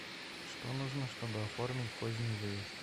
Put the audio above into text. что нужно чтобы оформить поздний выезд